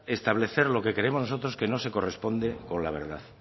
establecer lo que creemos nosotros que no se corresponde con la verdad